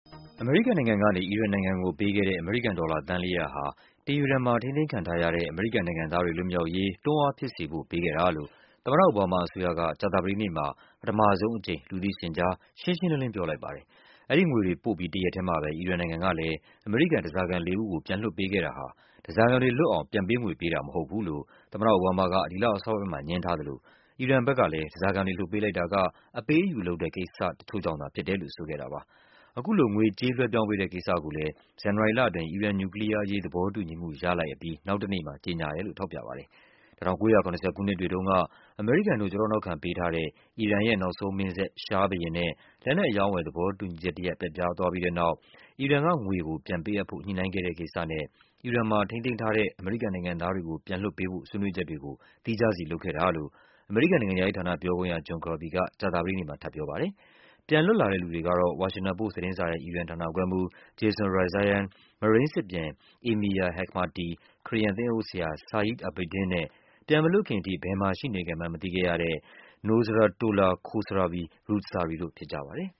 အမေရိကန်နိုင်ငံကနေ အီရန်နိုင်ငံကို ပေးပို့ခဲ့တဲ့ အမေရိကန်ဒေါ်လာသန်း ၄၀၀ ကို တီဟီရန် မှာထိန်းသိမ်းထားခဲ့တဲ့အမေရိကန်နိုင်ငံသားတွေလွတ်မြောက်ရေးအတွက် တွန်းအားဖြစ်စေဖို့ ပေးပို့ခဲ့တာလို့ အိုဘားမားအစိုးရအဖွဲ့က ကြာသပတေးနေ့မှာ ပထမဆုံးအကြိမ်အဖြစ် လူသိရင်ကြား ရှင်းရှင်းလင်းလင်းပြောဆိုလိုက်ပါတယ်။ အဲ့ဒီလိုငွေတွေပေးပို့ြ့ပီး တရက်တည်းမှာပဲ အီရန်နိုင်ငံကလည်း အမေရိကန်ဓားစာခံ ၄ ဦးကို ပြန်လွတ်ပေးခဲ့တာဟာဓားစာခံတွေလွတ်မြောက်အောင် ပြန်ပေးငွေပေးတာ မဟုတ်ဘူးလို့ အိုဘားမားက ဒီလအစောပိုင်းမှာ ငြင်းဆန်သလို အီရန်ဘက်က ဓားစာခံတွေလွတ်ပေးလိုက်တာက အပေးအယူလုပ်ခဲ့တဲ့ ကိစ္စတချို့ကြောင့် သာဖြစ်တယ်လို့ဆိုခဲ့တာပါ။ ခုလိုငွေကြေးလွှဲပြောင်းပေးတဲ့ကိစ္စကိုလည်းဇန်နဝါရီလအတွင်းအီရန်နူကလီးယားသဘောတူညီမှုရလိုက်ပြီးနောက်တနေ့မှာ ကြေငြာခဲ့တယ်လို့ ထောက်ပြခဲ့တာပါ။ ၁၉၇၀ ခုနှစ်တွေတုန်းက အမေရိကန်တို့ ကျောထောက်နောက်ခံပေးထားတဲ့ အီရန်ရဲ့ နောက်ဆုံးမင်းဆက်ဖြစ်တဲ့ ရှားဘုရင်နဲ့ လက်နက်အရောင်းအဝယ် သဘောတူညီမှု ပျက်ပြားခဲ့တဲ့အတွက် အီရန်ရဲ့ ငွေကို ပြန်ပေးအပ်ဖို့ ညှိုနှိုင်းခဲ့တဲ့ကိစ္စနဲ့အီရန်မှာထိန်းသိမ်းထားတဲအမေရိကန်နိုင်ငံသားတွေကို ပြန်လွတ်ပေးဖို့ ဆွေးနွေးချက်တွေကို သီးခြားစီပြုလုပ်ခဲ့တာလို့ အမေရိန်ကန်နိုင်ငံခြားရေးဌာန ပြောခွင့်ရ John Kirby က ကြာသပတေးနေ့မှာ ထပ်ပြောပါတယ်။ ပြန်လွတ်လာသူတွေကတော့ ဝါရှင်တန်ပို့စ် သတင်းစာကြီးရဲ့ အီရန်ဌာနခွဲမှူး Jason Rezaian၊ မရိန်းစစ်ပြန် Amir Hekmati၊ ခရစ်ယာန်သင်းအုပ်ဆရာ အဘာဒင်း Saeed Abedin နဲ့ ပြန်မလွတ်ခင်အထိဘယ်မှာရှိနေခဲ့မှန်းမသိရသူ Nosratollah Khosravi-Roodsari တို့ ဖြစ်ကြပါတယ်။